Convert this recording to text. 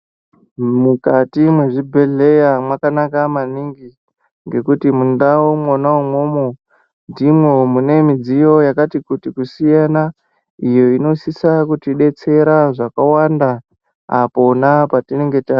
Mukati mwezvibhedhleya mwakanaka maningi ngekuti mundau mwona umwomwo ndimwo mune mudziyo yakati kuti kusiyana iyo inosisa kutidetsera zvakawanda apona patinenga ta .